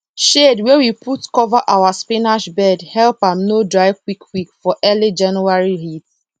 shade wey we put cover our spinach bed help am no dry quickquick for early january heat